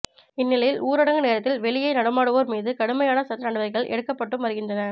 இந்த நிலையில் ஊரடங்கு நேரத்தில் வெளியே நடமாடுவோர் மீது கடுமையான சட்ட நடவ டிக்கைகள் எடுக்கப்பட்டும் வருகின்றன